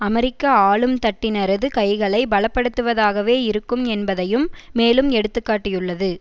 அமெரிக்க ஆளும்தட்டினரது கைகளை பலப்படுத்துவதாகவே இருக்கும் என்பதையும் மேலும் எடுத்து காட்டியுள்ளது